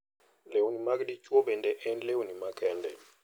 Lewni mag dichwo bende en lewni makende.